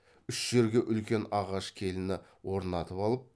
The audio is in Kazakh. үш жерге үлкен ағаш келіні орнатып алып